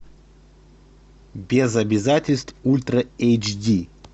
без обязательств ультра эйч ди